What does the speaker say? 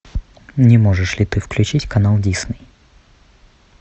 не можешь ли ты включить канал дисней